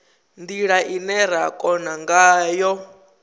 ndila ine ra kona ngayo